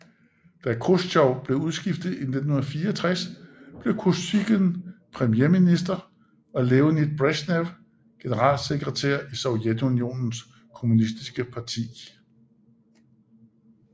Da Khrusjtjov blev udskiftet i 1964 blev Kosygin premierminister og Leonid Bresjnev generalsekretær i Sovjetunionens kommunistiske parti